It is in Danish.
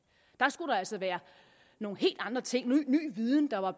der skulle altså være nogle helt andre ting ny viden jeg var